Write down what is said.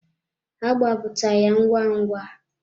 Ha gbapụta ya ngwa ngwa.